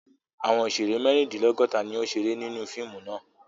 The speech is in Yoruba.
Àwọn òṣèrè mẹ́rindínlọ́gọ̀ta ni ó ń ṣeré nínú fíìmù náà.